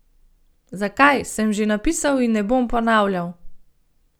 Zakaj, sem že napisal in ne bom ponavljal.